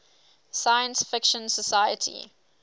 science fiction society